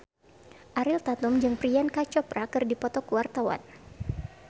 Ariel Tatum jeung Priyanka Chopra keur dipoto ku wartawan